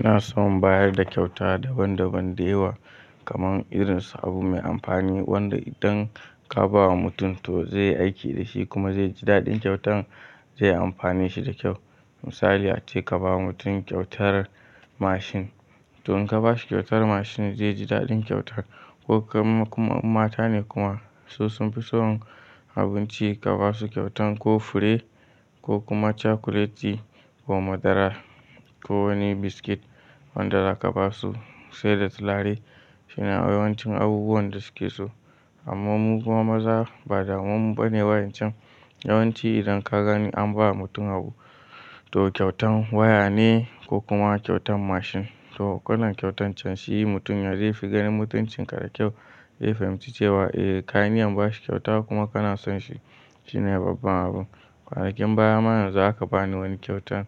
Ina son bayar da kyauta daban daban da yawa kaman irin su abu mai amfani wanda idan ka ba wa mutum to zai aiki da shi kuma zai ji daɗin kyautan zai amfane shi da kyau. Misali ace ka ba mutum kyautar mashin to in ka ba shi kyautar mashin zai ji daɗin kyautan ko kam kuma mata ne kuma su sun fi son abinci ka ba su kyautan ko fure ko kuma cakuleti ko madara ko wani biskit wanda za ka ba su sai da tulare shine yawancin abubuwan da suke so. Amma muku ma maza ba da wammun bane yawancin yawanci idan ka gani an ba mutum abu to kyautan waya ne ko kuma kyautan mashin to wannan kyautan can shi mutum yanzai ya fi ganin mutuncin ka da kyau. Zai fahimci cewa eh ka yi niyyar ba shi kyauta kuma kana son shi shine babban abun. Kwanakin baya ma yanza aka bani wani kyautan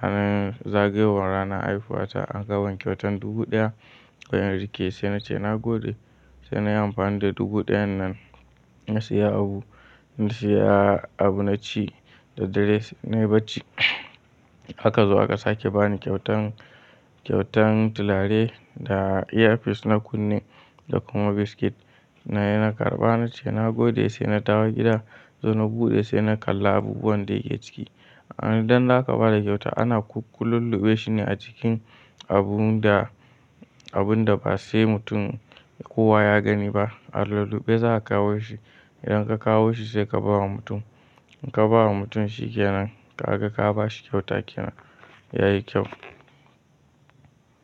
ranar zagayowar ranar haihuwa ta aka ban kyautan dubu ɗaya wai in rike sai na ce na gode sai na yi amfani da dubu ɗayan nan na siya abu na siya abu na ci da dare na yi bacci. Aka zo aka sake bani kyautan kyautan tulare da airfis na kunne da kuma biskit na naje na karɓa na ce na gode sai na dawo gida sai na buɗe sai na kalla abubuwan da yake ciki. Idan za ka ba da kyauta ana kullum luɓe shi ne a cikin abun da abun da ba sai mutum kowa ya gani ba a lulluɓe za ka kawo shi idan ka kawo shi sai ka ba wa mutum. In ka ba wa mutum shi kenan ka ga ka ba shi kyauta kenan yayi kyau.